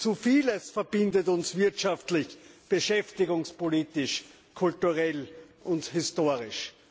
Zu vieles verbindet uns wirtschaftlich, beschäftigungspolitisch, kulturell und historisch.